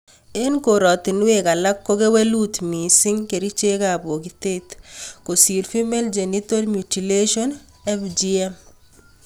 Eng korotinwek alage ko kewelut missing kerichekab bokitotet kosiir Female Genital Mutulation (FGM)